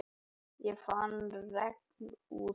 Ég fann regnúðann.